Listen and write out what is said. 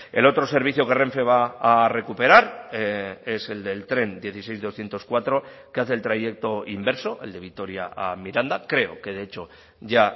el otro servicio que renfe va a recuperar es el del tren dieciséis doscientos cuatro que hace el trayecto inverso el de vitoria a miranda creo que de hecho ya